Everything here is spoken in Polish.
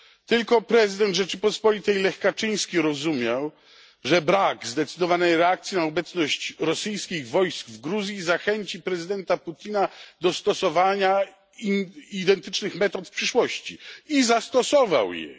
Tylko prezydent Rzeczypospolitej Lech Kaczyński rozumiał, że brak zdecydowanej reakcji na obecność rosyjskich wojsk w Gruzji zachęci prezydenta Putina do stosowania identycznych metod w przyszłości. I prezydent Putin zastosował je.